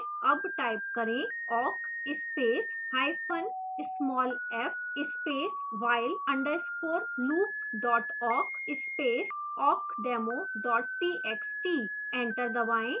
awk type करें: awk space hyphen small f space while _ loop awk space awkdemo txt